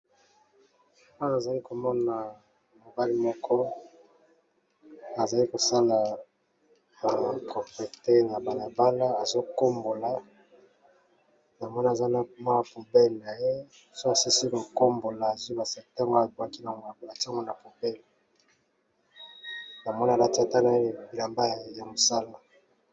Awa nazali komona mobali , moko azali kosala bompeto na balabala azo kombola, namoni aza na poubelle naye ,soki asilisi ko kombola atie na poubelle naye , alati pe na bilamba ya musala.